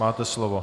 Máte slovo.